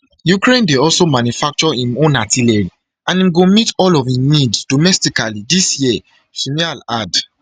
ukraine dey also manufacture im own artillery and im go meet all of im needs domestically dis year shmyhal add